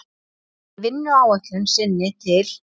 Í vinnuáætlun sinni til